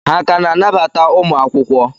Ha ka na-anabata ụmụ akwụkwọ?